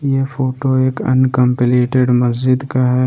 ये फोटो एक अनकम्प्लीटेड मस्जिद का है।